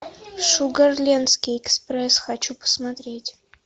шугарлендский экспресс хочу посмотреть